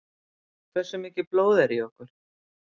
Hversu mikið blóð er í okkur?